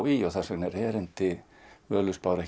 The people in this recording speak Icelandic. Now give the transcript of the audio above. í og þess vegna er erindi Völuspár